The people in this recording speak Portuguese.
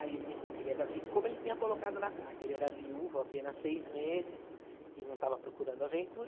Aí ele me falou que ele era vi, como ele tinha colocado na carta, ele era viúvo há apenas seis meses e não estava procurando aventura.